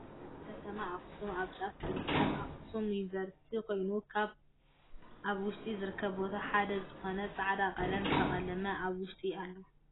ኣብ ከተማ ኣክሱም ኣብ ጫፍ ዝርካብ ኣክሱም ዩኒቨርሲቲ ኮይኑ ካብ ኣብ ውሽጡ ዝርከብ ቦታ ሓደ ዝኮና ፃዕዳ ቀለም ዝተቀለመ ኣብ ውሸጢ ኣሎ።